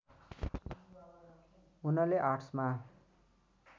उनले आर्टस्मा